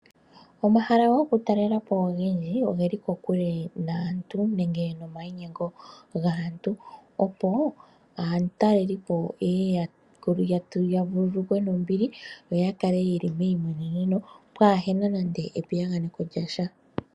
Omahala gokutalela po ogendji oge li kokule naantu nenge nomayinyengo gaantu, opo aatalelipo ye ye ya vululukwe nombili yo ya kale ye li meyimweneno pwaa he na nando epiyaganeko lya sha.